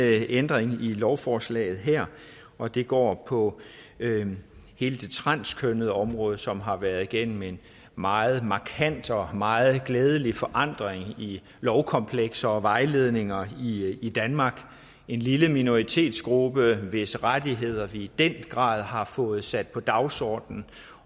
ændring i lovforslaget her og det går på hele det transkønnede område som har været igennem en meget markant og meget glædelig forandring i lovkomplekser og vejledninger i danmark det en lille minoritetsgruppe hvis rettigheder vi i den grad har fået sat på dagsordenen